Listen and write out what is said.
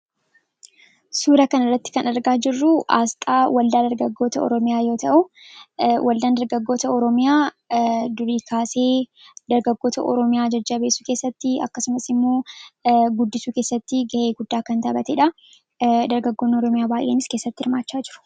suura kan irratti kan dargaa jirruu aasxaa waldaa dargaggoota oroomiyaa yoo ta'u waldaan dargaggoota oroomiyaa durikaasee dargaggoota oroomiyaa jajja beesuu keessatti akkasumasimmoo guddisuu keessatti ga'ee guddaa kan taabatee dha dargaggoonni oroomiyaa baay'eenis keessatti irmaachaa jiru